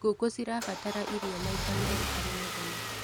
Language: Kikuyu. Ngũkũ cirabatara irio maita merĩ harĩ mũthenya.